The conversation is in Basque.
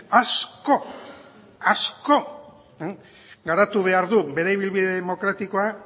asko asko garatu behar du bere ibilbide demokratikoa